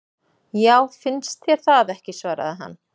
Já, finnst þér það ekki svaraði hann.